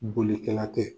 Bolikɛla tɛ